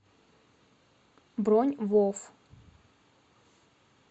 бронь вов